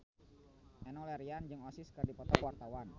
Enno Lerian jeung Oasis keur dipoto ku wartawan